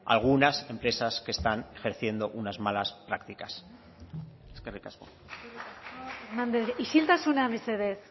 algunas empresas que están ejerciendo unas malas prácticas eskerrik asko isiltasuna mesedez